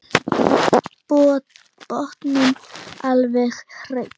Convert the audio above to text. Botninn alveg hreinn.